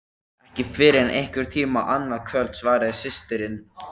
Ekki fyrr en einhvern tíma annað kvöld, svaraði systirin.